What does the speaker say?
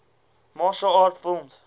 martial arts film